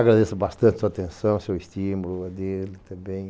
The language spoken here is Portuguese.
Agradeço bastante sua atenção, seu estímulo, a dele também.